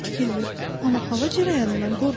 Bitkidir, amma hava cərəyanından qorxur.